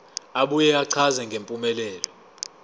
abuye achaze ngempumelelo